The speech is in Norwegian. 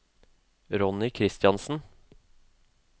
Ronny Kristiansen